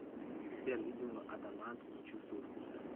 сбер видео адамант не чувствую вкуса